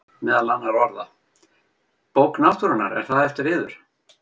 Meðal annarra orða: Bók náttúrunnar,- er það eftir yður?